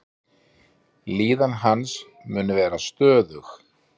Líðan hans mun vera stöðug.